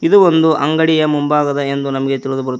ಇದು ಒಂದು ಅಂಗಡಿಯ ಮುಂಭಾಗದ ಎಂದು ನಮಗೆ ತಿಳಿದು ಬರುತ್ತದೆ.